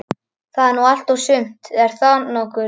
Það er nú allt og sumt, en þó nokkuð.